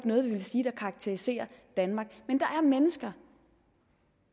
noget vi vil sige karakteriserer danmark men der er mennesker